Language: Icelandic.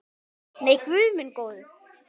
Nei, guð minn góður.